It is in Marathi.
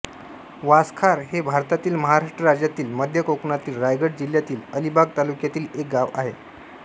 वासखार हे भारतातील महाराष्ट्र राज्यातील मध्य कोकणातील रायगड जिल्ह्यातील अलिबाग तालुक्यातील एक गाव आहे